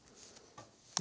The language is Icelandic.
og